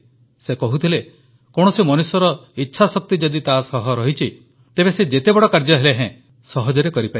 ସେ କହୁଥିଲେ କୌଣସି ମନୁଷ୍ୟର ଇଚ୍ଛାଶକ୍ତି ଯଦି ତା ସହ ଅଛି ତେବେ ସେ ଯେତେ ବଡ଼ କାର୍ଯ୍ୟ ହେଲେ ହେଁ ସହଜରେ କରିପାରିବ